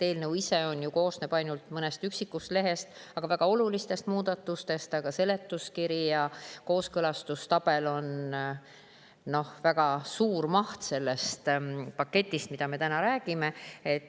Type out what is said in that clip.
Eelnõu ise koosneb ju ainult mõnest üksikust lehe, kuigi väga olulistest muudatustest, aga seletuskiri ja kooskõlastustabel on väga suur selle paketi mahust, millest me täna räägime.